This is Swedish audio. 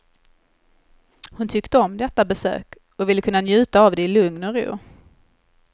Hon tyckte om detta besök och ville kunna njuta av det i lugn och ro.